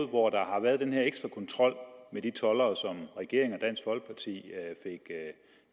hvor der har været den her ekstra kontrol med de toldere som den regering og dansk folkeparti